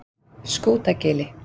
Skútagili